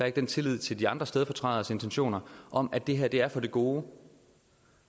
er den tillid til de andre stedfortræderes intentioner om at det her er for det gode